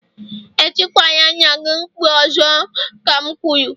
Etikwala nna gị mkpu ọzọ ka m kwuru!